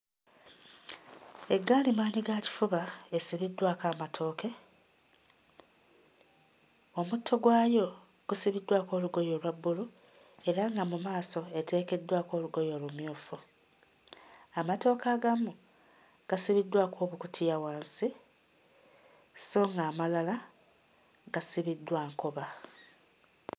Eggaali maanyigakifuba esibiddwako amatooke, omutto gwayo gusibiddwako olugoye olwa bbulu era nga mu maaso eteekeddwako olugoye olumyufu. Amatooke agamu gasibiddwako obukutiya wansi sso ng'amalala gasibiddwa nkoba.